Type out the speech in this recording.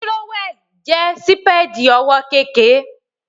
Tírówẹ̀l jẹ́ sípèdì ọwọ́ kékèké